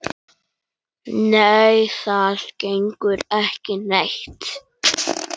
Nei, það gengur ekki neitt.